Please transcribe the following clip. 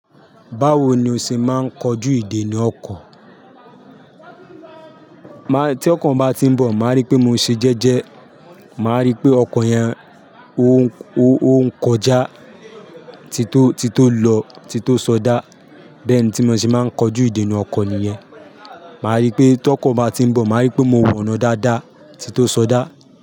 Báwo ni o ṣe máa ń kojú ìdènà ọkọ̀? Tí ọkọ̀ bá ti ń bọ̀ màá rí pé mo ṣe jẹ́jẹ́, màá rí pé ọkọ̀ yẹn ó ń kọjá tí tó tí tó lọ, tí tó sọdá bẹ́ẹ̀ni tí mo ṣe máa ń kojú ìdènà ọkọ̀ nìyẹn. Màá rí pé tí ọkọ̀ bá ti ń bọ̀, màá rí pé mo wọná dáadáa tí tó sọdá.